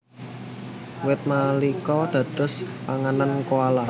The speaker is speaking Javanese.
Wit manika dados panganan koala